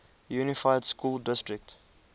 unified school district